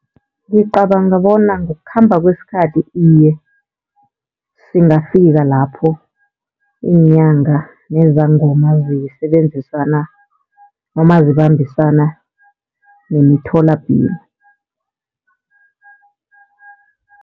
Ngicabanga bona ngokukhamba kwesikhathi iye, singafika lapho iinyanga nezangoma zisebenzisana noma zibambisana nemitholapilo.